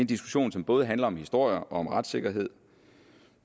diskussion som både handler om historie og om retssikkerhed